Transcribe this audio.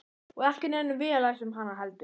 Og ekki nennum við að lesa um hana heldur?